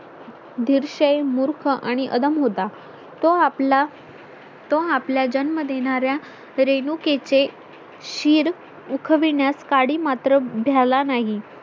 दृश मूर्ख आणि अधम होता तो आपला तो आपल्या जन्म देणार्‍या रेणुकेचे शिर उखविण्यास काडी मात्र भ्याला नाही